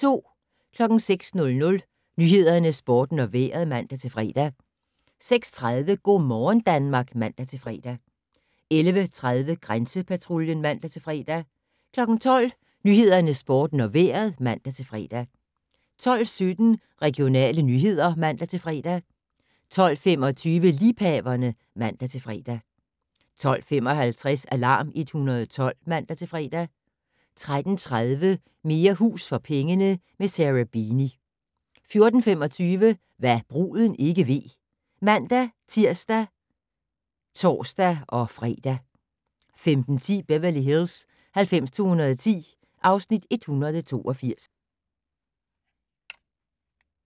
06:00: Nyhederne, Sporten og Vejret (man-fre) 06:30: Go' morgen Danmark (man-fre) 11:30: Grænsepatruljen (man-fre) 12:00: Nyhederne, Sporten og Vejret (man-fre) 12:17: Regionale nyheder (man-fre) 12:25: Liebhaverne (man-fre) 12:55: Alarm 112 (man-fre) 13:30: Mere hus for pengene - med Sarah Beeny 14:25: Hva' bruden ikke ved (man-tir og tor-fre) 15:10: Beverly Hills 90210 (Afs. 182)